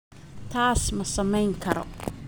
Taas ma samayn karo